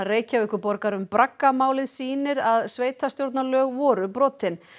Reykjavíkurborgar um sýnir að sveitarstjórnarlög voru brotin